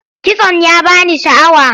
Kitson ya ba ni sha'awa.